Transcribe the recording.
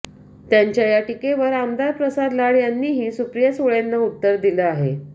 त्यांच्या या टीकेवर आमदार प्रसाद लाड यांनीही सुप्रिया सुळेंना उत्तर दिलं आहे